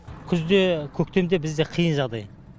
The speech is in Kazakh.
күзде көктемде бізде қиын жағдай